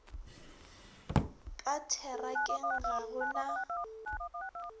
ka therakeng ga go na